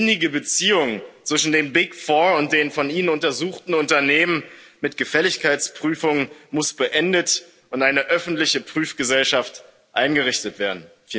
Die innige Beziehung zwischen den Big Four und den von Ihnen untersuchten Unternehmen mit Gefälligkeitsprüfung muss beendet und eine öffentliche Prüfgesellschaft eingerichtet werden.